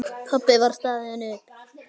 Pabbi var staðinn upp.